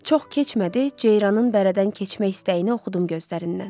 Çox keçmədi, Ceyranın bərədən keçmək istəyini oxudum gözlərindən.